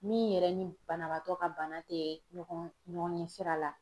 Min yɛrɛ ni banabaatɔ ka bana te ɲɔgɔn ɲɔgɔn ɲɛ sira la